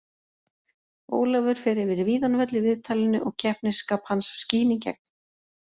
Ólafur fer yfir víðan völl í viðtalinu og keppnisskap hans skín í gegn.